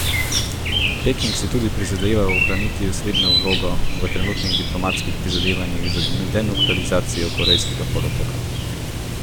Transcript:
Peking si tudi prizadeva ohraniti osrednjo vlogo v trenutnih diplomatskih prizadevanjih za denuklearizacijo Korejskega polotoka.